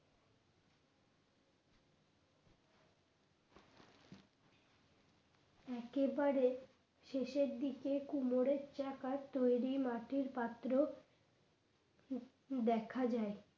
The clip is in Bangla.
একেবারে শেষের দিকে কোমরের চাকার তৈরি মাটির পাত্র দেখা যায়